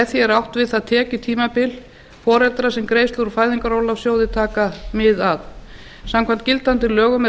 er átt við það tekjutímabil foreldra sem greiðslur úr fæðingarorlofssjóði taka mið af samkvæmt gildandi lögum er